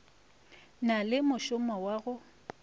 na le mošomo wa go